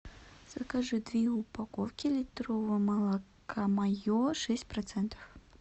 закажи две упаковки литрового молока мое шесть процентов